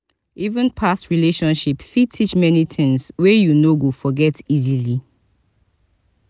even past relationship fit teach many tings wey you no go forget easily.